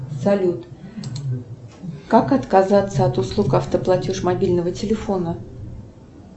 салют как отказаться от услуг автоплатеж мобильного телефона